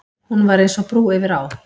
Hún var eins og brú yfir á.